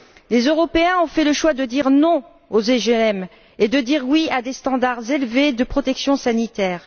Les Européens ont fait le choix de dire non aux OGM et de dire oui à des standards élevés de protection sanitaire.